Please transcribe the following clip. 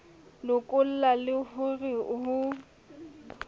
lokolla le ho re ho